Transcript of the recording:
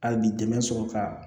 Hali bi dɛmɛ sɔrɔ ka